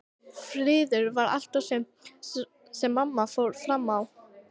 Friður var allt og sumt sem mamma fór fram á.